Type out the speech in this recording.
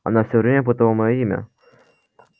она все время путала моё имя